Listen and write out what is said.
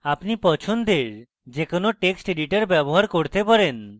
আপনি পছন্দের যে কোনো text editor ব্যবহার করতে পারেন